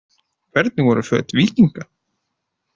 Hvernig voru föt víkinga?